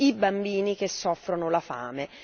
i bambini che soffrono la fame.